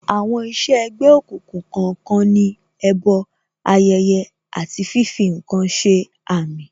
Àwọn iṣẹ́ ẹ̀gbẹ́ òkùnkùn kọ̀ọ̀kan ní, ẹbọ, ayẹyẹ, àti fífi ǹkan ṣe àmì